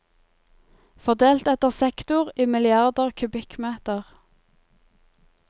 Fordelt etter sektor, i milliarder kubikkmeter.